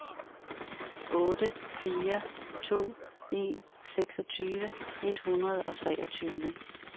otte fire to en seksogtyve et hundrede og treogtyve